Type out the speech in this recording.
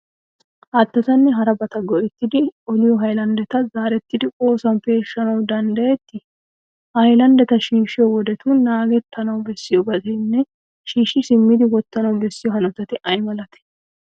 Haattaanne harabata go"ettidi oliyo haylanddeta zaarettidi oosuwan peeshshanawu danddayettii? Ha haylanddeta shiishshiyo wodetun naagettana bessiyobatinne shiishshi simmidi wottana bessiyo hanotati ay malatee?